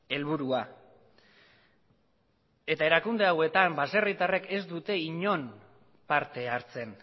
helburua eta erakunde hauetan baserritarrek ez dute inon parte hartzen